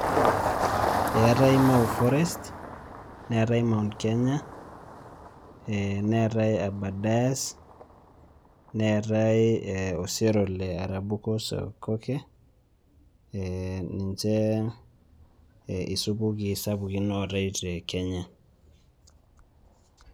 Eetai mau forest, neetai Mount Kenya, ee neetai aberdares neetai osero le arabusukoke, ee ninje isupuki sapukin ootai te Kenya.